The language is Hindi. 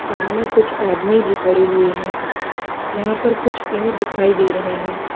सामने कुछ आदमी भी खड़े हुए हैं यहां पर कुछ पेड़ दिखाई दे रहे हैं।